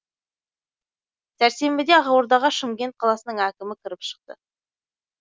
сәрсенбіде ақордаға шымкент қаласының әкімі кіріп шықты